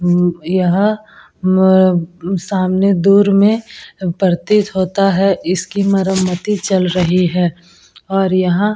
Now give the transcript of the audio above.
अम यहां मम सामने दूर में प्रतीत होता है इसकी मरम्मती चल रही है और यहां--